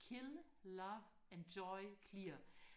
kill love enjoy clear